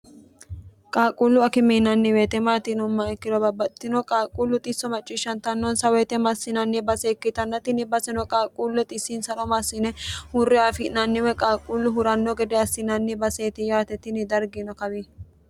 qaaqquullu akime yinanni wote maati yinummoha ikkiro babbaxitino qaaqquullu xisso macciishshantannonsa woyite maassinanni basee ikkitanna tinni baseno qaaqquullo xissinsaro maassine hurre aafi'nanni woy qaaqquullu huranno gede assinanni baseeti yaatetini dargino kawi